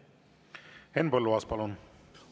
Henn Põlluaas, palun!